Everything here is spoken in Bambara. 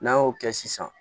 N'an y'o kɛ sisan